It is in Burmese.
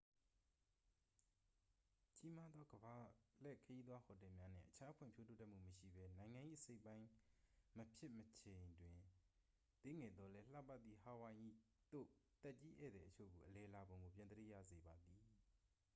ကြီးမားသော ကမ္ဘာလှည့်ခရီးသွား ဟိုတယ်များနှင့် အခြား ဖွံ့ဖြိုးတိုးတက်မှု မရှိဘဲ နိုင်ငံ၏အစိတ်အပိုင်းမဖြစ်မီ အချိန်တွင် သေးငယ်သော်လည်း လှပသည့် ဟာဝိုင်အီသို့ သက်ကြီးဧည့်သည်အချို့ကို အလည်လာပုံကို ပြန်သတိရစေပါသည်